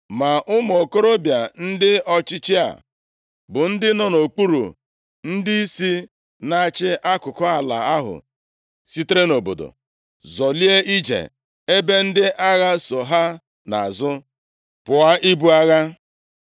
Ma ụmụ okorobịa ndị ọchịchị a bụ ndị nọ nʼokpuru ndịisi, na-achị akụkụ ala ahụ sitere nʼobodo zọlie ije ebe ndị agha so ha nʼazụ, pụọ ibu agha.